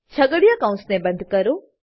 છગડીયા કૌંસને બંધ કરો